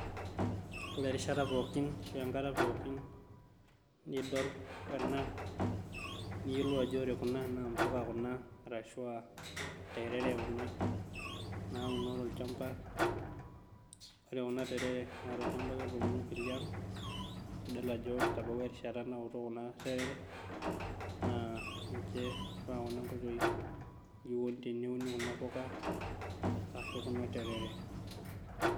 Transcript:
Ore erishata pookin ashuu enkata pookin nidol ena neyiolou ajo ore kuna naa impuka kuna ashua terere nauno tolchamba ore kuna terere naa tolchamba ake etuunoki liang nidol ajo etabawua erishata naku kuna terere naa inji eifaa kuna oitoi teniun kuna puka ashua kuna terere.